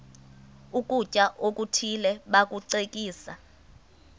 ukutya okuthile bakucekise